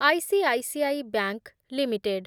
I C I C I Bank limited